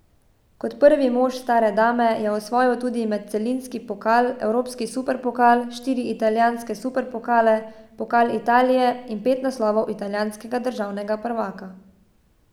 Kot prvi mož stare dame je osvojil tudi medcelinski pokal, evropski superpokal, štiri italijanske superpokale, pokal Italije in pet naslovov italijanskega državnega prvaka.